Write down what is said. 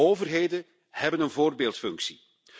Overheden hebben een voorbeeldfunctie.